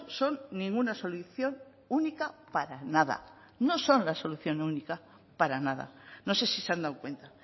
son ninguna solución única para nada no son la solución única para nada no sé si se han dado cuenta